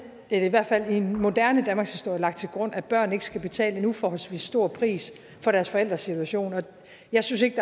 i hvert fald i den moderne danmarkshistorie lagt til grund at børn ikke skal betale en uforholdsmæssig stor pris for deres forældres situation jeg synes ikke